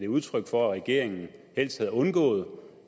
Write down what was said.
udtryk for at regeringen helst havde undgået